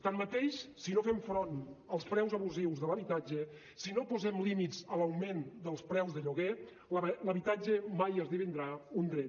tanmateix si no fem front als preus abusius de l’habitatge si no posem límits a l’augment dels preus de lloguer l’habitatge mai esdevindrà un dret